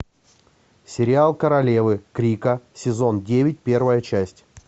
сериал королевы крика сезон девять первая часть